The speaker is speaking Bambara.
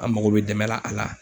An mago bɛ dɛmɛ la a la.